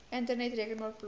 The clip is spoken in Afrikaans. internet rekenaar plaas